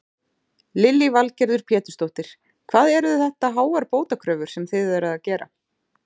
Lillý Valgerður Pétursdóttir: Hvað eru þetta háar bótakröfur sem þið eruð að gera?